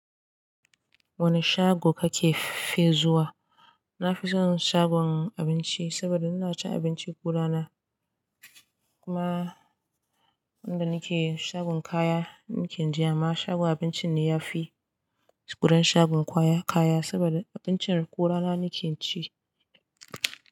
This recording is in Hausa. Wane shago kake fi zuwa? Na fi son shagon abinci saboda ina cin abinci ko ana. Kuma inda nake shagon kaya nake jin amma, shagon abincin ne ya fi, gurin shagon ƙwaya kaya saboda abincin ko rana nake ci.